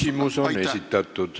Küsimus on esitatud.